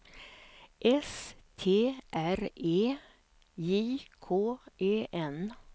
S T R E J K E N